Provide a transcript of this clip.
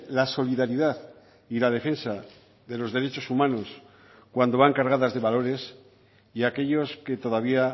la solidaridad y la defensa de los derechos humanos cuando van cargadas de valores y aquellos que todavía